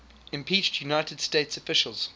impeached united states officials